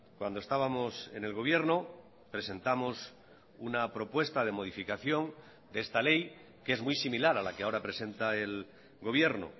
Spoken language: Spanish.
cuando estábamos en el gobierno presentamos una propuesta de modificación de esta ley que es muy similar a la que ahora presenta el gobierno